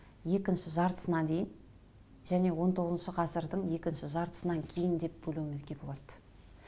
екінші жартысына дейін және он тоғызыншы ғасырдың екінші жартысынан кейін деп бөлуімізге болады